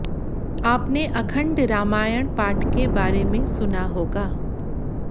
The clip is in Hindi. आपने अखंड रामायण पाठ के बारे में सुना होगा